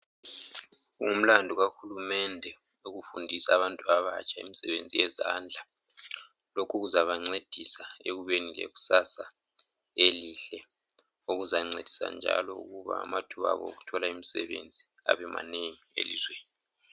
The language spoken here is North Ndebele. Kungumlandu kahulumende ukufundisa abantu abatsha imsebenzi yezandla. Lokhu kuzabancedisa ekubeni leksasa elihle. Okuzancedisa njalo ukuba amathuba abo okuthola imsebenzi abemanengi elizweni.